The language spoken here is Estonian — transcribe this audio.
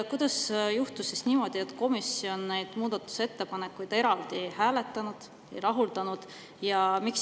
Kuidas juhtus niimoodi, et komisjon neid muudatusettepanekuid eraldi ei hääletanud ega rahuldanud?